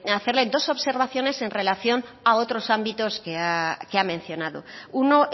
hacerle dos observaciones en relación a otros ámbitos que ha mencionado uno